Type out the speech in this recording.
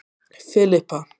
Filippa